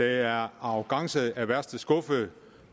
er arrogance af værste skuffe